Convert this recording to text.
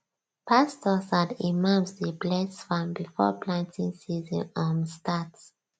pastors and imams dey bless farm before planting season um start